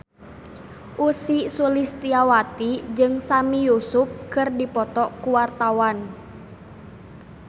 Ussy Sulistyawati jeung Sami Yusuf keur dipoto ku wartawan